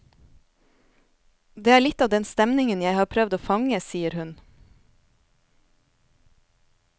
Det er litt av den stemningen jeg har prøvd å fange, sier hun.